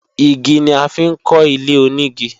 Igi ni a fi ń kọ́ ilé-onígi